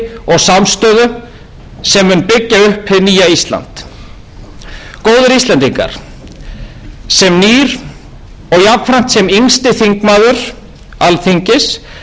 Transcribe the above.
og samstöðu sem mun byggja upp hið nýja ísland góðir íslendingar sem nýr og jafnframt sem yngsti þingmaður alþingis vil ég að endingu segja að ég hlakka til að takast á við